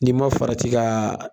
N'i ma farati ka